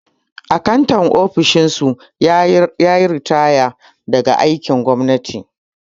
Akantan ofishin su yayi ritaya daga aikin gwamnati